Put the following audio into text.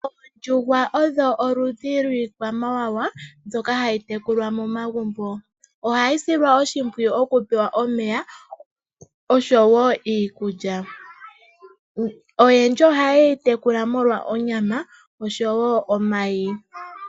Oondjuhwa odho oludhi dhiikwamawawa mbyoka hayi tekulwa momagumbo ohayi silwa oshimpwiyu okupewa omeya osho woo iikulya. Oyendji ohaye yi tekula omolwa onyama osho woo omayi.